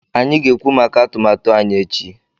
Anyị ga-ekwu maka atụmatụ anyị echi